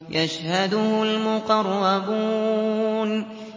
يَشْهَدُهُ الْمُقَرَّبُونَ